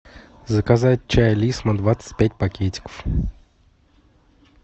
заказать чай лисма двадцать пять пакетиков